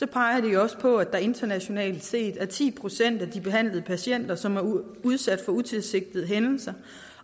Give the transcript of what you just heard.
jo også på at der internationalt set er ti procent af de behandlede patienter som er udsat for utilsigtede hændelser